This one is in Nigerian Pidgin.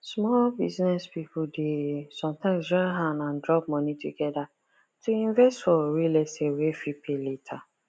small business people dey sometimes join hand and drop money together to invest for real estate wey fit pay later